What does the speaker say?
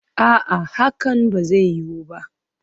A'a, hakan ba zai yiwu ba